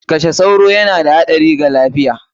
Kashe sauro yana da haɗari wa lafiya!